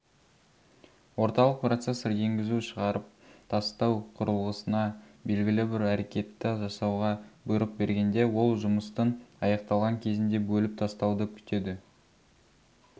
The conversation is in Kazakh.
орталық процессор енгізу шығарып тастау құрылғысына белгілі бір әрекетті жасауға бұйрық бергенде ол жұмыстың аяқталған кезінде бөліп тастауды күтеді